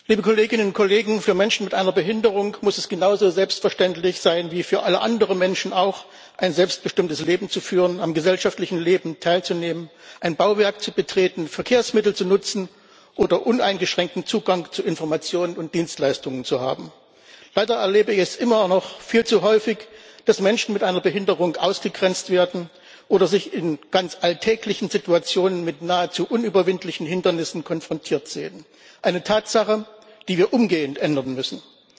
Herr Präsident, liebe Kolleginnen und Kollegen! Für Menschen mit einer Behinderung muss es genauso selbstverständlich sein wie für alle anderen Menschen auch, ein selbstbestimmtes Leben zu führen, am gesellschaftlichen Leben teilzunehmen, ein Bauwerk zu betreten, Verkehrsmittel zu nutzen oder uneingeschränkten Zugang zu Informationen und Dienstleistungen zu haben. Leider erlebe ich es immer noch viel zu häufig, dass Menschen mit einer Behinderung ausgegrenzt werden oder sich in ganz alltäglichen Situationen mit nahezu unüberwindlichen Hindernissen konfrontiert sehen, eine Tatsache, die wir umgehend ändern müssen.